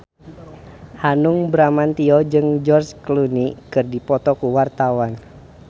Hanung Bramantyo jeung George Clooney keur dipoto ku wartawan